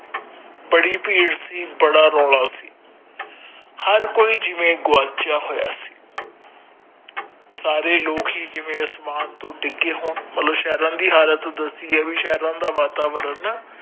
ਬੜੀ ਭੀੜ ਸੀ ਬੜਾ ਰੋਲ ਸੀ ਹਰ ਕੋਈ ਜਿਵੇ ਗਵਾਚਯਾ ਹੋਯਾ ਸੀ ਸਾਰੇ ਲੋਕ ਹੀ ਜਿਵੇ ਅਸਮਾਨ ਤੋਂ ਡਿਗੇ ਹੋਣ ਮਤਲਬ ਸ਼ਹਿਰਯਾ ਦੀ ਹਾਲਤ ਦਸੀ ਹੈ ਵੀ ਸਹਿਰਯਾ ਦਾ ਵਾਤਾਵਰਣ